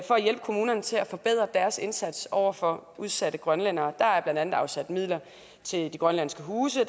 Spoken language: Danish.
kommunerne til at forbedre deres indsats over for udsatte grønlændere der er blandt andet afsat midler til de grønlandske huse og